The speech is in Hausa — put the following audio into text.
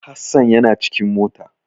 Hasan yana cikin mota.